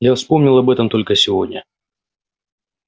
я вспомнил об этом только сегодня